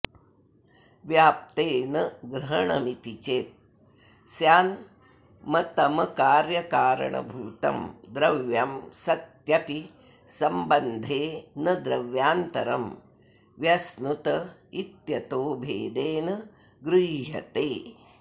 व्याप्ते न ग्रहणमिति चेत् स्यान्मतमकार्यकारणभूतं द्रव्यं सत्यपि सम्बन्धे न द्रव्यान्तरं व्यश्नुत इत्यतो भेदेन गृह्यते